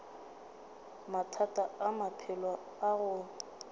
mathata a maphelo a go